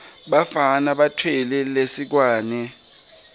bafana batfwele lisekwane